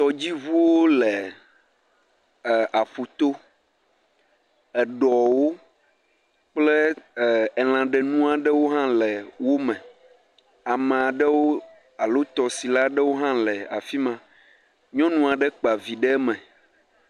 Tɔdziŋuwo le ɛɛ aƒuto. Eɖɔwo kple ɛɛ elãɖenu aɖewo hã le wome. Amaa ɖewo alo tɔsila aɖewo hã le afi ma. Nyɔnu aɖe kpa vi ɖe eme.